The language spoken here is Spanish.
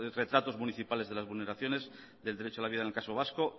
retratos municipales de las vulneraciones del derecho a la vida en el caso vasco